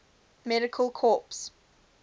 medical corps